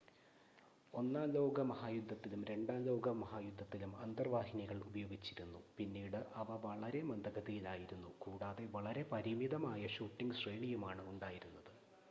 ഒന്നാം ലോകമഹായുദ്ധത്തിലും രണ്ടാം ലോക മഹായുദ്ധത്തിലും അന്തർവാഹിനികൾ ഉപയോഗിച്ചിരുന്നു പിന്നീട് അവ വളരെ മന്ദഗതിയിലായിരുന്നു കൂടാതെ വളരെ പരിമിതമായ ഷൂട്ടിംഗ് ശ്രേണിയുമാണ് ഉണ്ടായിരുന്നത്